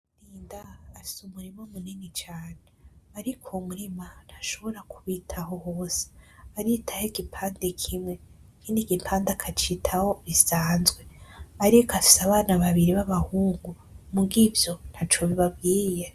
Rurinda afise umurima munini cane ariko uwo murima ntashobora kuwitaho wose aritaho igipande kimwe ikindi gipande akacitaho bisanzwe ariko afise abana babiri b'abahungu muga ivyo ntaco bibabwiye.